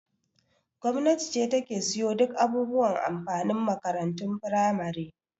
Gwamnati ce ta ke siyo duk abubuwan amfanin makarantun firamare.